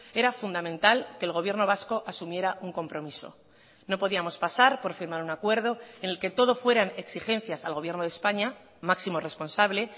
era fundamental que el gobierno vasco asumiera un compromiso no podíamos pasar por firmar un acuerdo en el que todo fueran exigencias al gobierno de españa máximo responsable